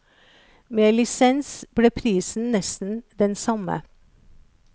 Med lisens ble prisen nesten den samme.